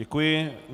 Děkuji.